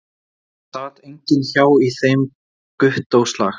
Það sat enginn hjá í þeim Gúttóslag